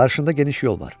Qarşında geniş yol var.